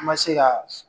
An ma se ka